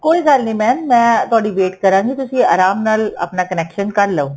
ਕੋਈ ਗੱਲ ਨੀ mam ਮੈਂ ਤੁਹਾਡੀ wait ਕਰਾਂਗੀ ਤੁਸੀਂ ਆਰਾਮ ਨਾਲ ਆਪਣਾ connection ਕਰਲੋ